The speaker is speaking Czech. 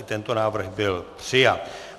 I tento návrh byl přijat.